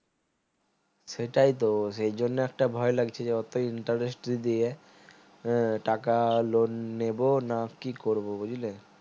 সেটাই তো সেই জন্য একটা ভয় লাগছে যে অতো interest যদি দিয়ে হম টাকা loan নেবো না কি করবো